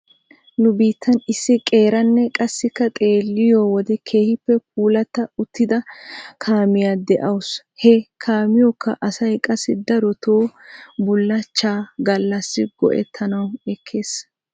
Nu biittan issi qeeranne qassikka xeelliyoo wode keehippe puulatta uttida kaamiyaa de'awusu. He kaamiyookka asay qassi daroto bullachcha galassi go'ettanaw ekkes.